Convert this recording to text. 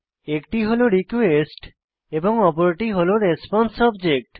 একটি হল রিকোয়েস্ট এবং অপরটি হল রেসপন্সে অবজেক্ট